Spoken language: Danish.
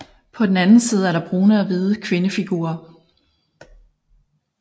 På den anden side er der brune og hvide kvindefigurer